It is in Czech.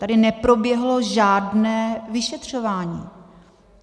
Tady neproběhlo žádné vyšetřování.